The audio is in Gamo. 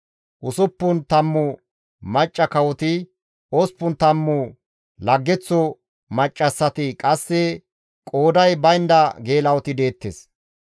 Usuppun tammu macca kawoti, osppun tammu laggeththo maccassati, qasse qooday baynda geela7oti deettes.